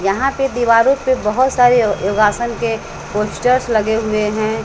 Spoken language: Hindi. यहां पे दीवारों पे बहुत सारे यो योगासन के पोस्टर्स लगे हुए हैं।